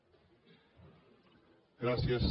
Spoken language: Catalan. gràcies